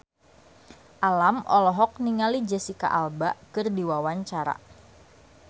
Alam olohok ningali Jesicca Alba keur diwawancara